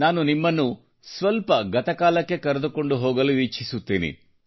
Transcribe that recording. ನಾನು ನಿಮ್ಮನ್ನು ಸ್ವಲ್ಪ ಗತಕಾಲಕ್ಕೆ ಕರೆದುಕೊಂಡು ಹೋಗಲು ಇಚ್ಛಿಸುತ್ತೇನೆ